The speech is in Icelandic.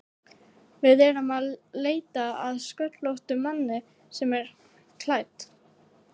Við erum að leita að sköllóttum manni sem er klædd